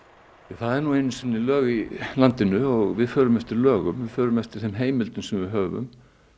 það eru nú einu sinni lög í landinu og við förum eftir lögum við förum eftir þeim heimildum sem við höfum